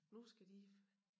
Nu skal de